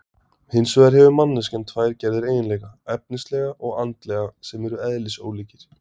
Hins vegar hefur manneskjan tvær gerðir eiginleika, efnislega og andlega, sem eru eðlisólíkir.